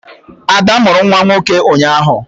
Ada mụrụ nwa nwoke ụnyaahụ